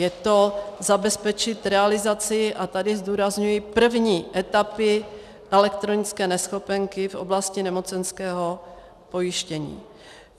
Je to zabezpečit realizaci, a tady zdůrazňuji, první etapy elektronické neschopenky v oblasti nemocenského pojištění.